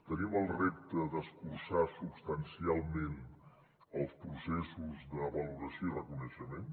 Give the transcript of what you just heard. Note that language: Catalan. tenim el repte d’escurçar substancialment els processos de valoració i reconeixement